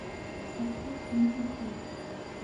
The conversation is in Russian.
поставь лиза хопс